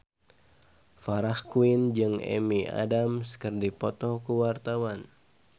Farah Quinn jeung Amy Adams keur dipoto ku wartawan